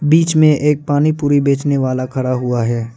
बीच में एक पानी पुरी बेचने वाला खड़ा हुआ है।